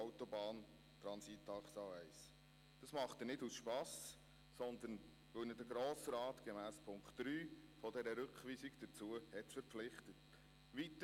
Das tut er nicht aus Spass, sondern weil ihn der Grosse Rat gemäss Punkt 3 der Rückweisung dazu verpflichtet hat.